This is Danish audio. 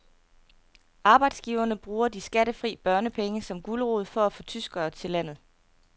Arbejdsgiverne bruger de skattefri børnepenge som gulerod for at få tyskere til landet.